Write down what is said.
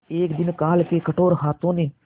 एक दिन काल के कठोर हाथों ने